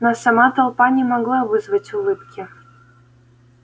но сама толпа не могла вызвать улыбки